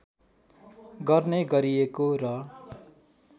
गर्ने गरिएको र